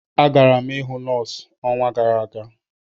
Agara m ịhụ nọọsụ ọnwa gara aga.